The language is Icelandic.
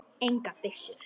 Engar byssur.